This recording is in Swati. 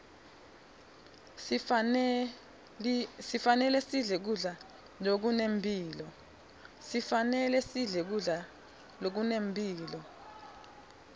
sifanelesidle kudla zokunemphilo